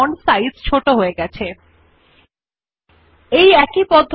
এখন font size ক্ষেত্রের নিম্নমুখী তীর এ ক্লিক করে ১১ এর উপর ক্লিক করুন